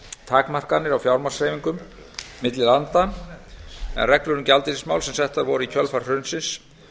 takmarkanir á fjármagnshreyfingum milli landa en reglur um gjaldeyrismál sem settar voru í kjölfar hrunsins